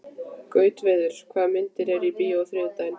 Gautviður, hvaða myndir eru í bíó á þriðjudaginn?